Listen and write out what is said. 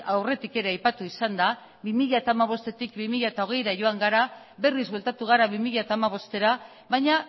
aurretik ere aipatu izan da bi mila hamabostetik bi mila hogeira joan gara berriz bueltatu gara bi mila hamabostera baina